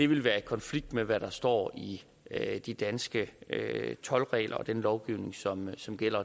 ville være i konflikt med hvad der står i de danske toldregler og den lovgivning som som gælder